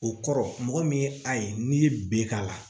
O kɔrɔ mɔgɔ min ye a ye n'i ye b'a la